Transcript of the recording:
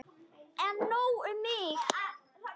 En nóg um mig.